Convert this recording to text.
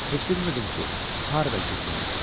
Heç bilmirdim ki, harda gizlənim.